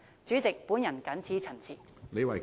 主席，我謹此陳辭。